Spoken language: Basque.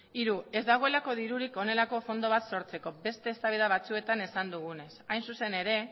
hiru ez dagoelako dirurik honelako fondo bat sortzeko beste eztabaida batzuetan esan duguna hain zuzen ere